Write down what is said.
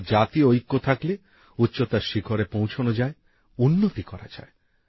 অর্থাৎ জাতীয় ঐক্য থাকলে উচ্চতার শিখরে পৌঁছনো যায় উন্নতি করা যায়